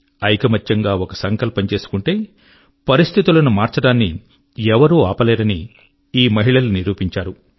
ఐకమత్యంగా ఒక సంకల్పం చేసుకుంటే పరిస్థితుల ను మార్చడాన్ని ఎవరూ ఆపలేరని ఈ మహిళలు నిరూపించారు